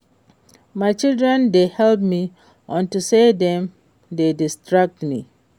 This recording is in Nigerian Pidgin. My children dey help me unto say dem dey distract me